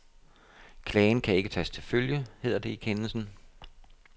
Klagen kan ikke tages til følge, hedder det i kendelsen.